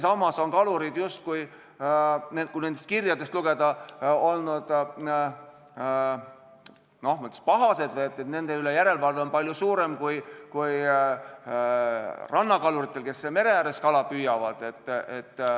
Samas on kalurid justkui, nendest kirjadest selgub, ma ütleks, olnud pahased, et järelevalve nende üle on palju suurem kui rannakaluritel, kes mere ääres kala püüavad.